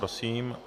Prosím.